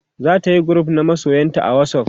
zatayi group na masoyanta a whatsapp